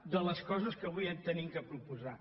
de les coses que avui hem de proposar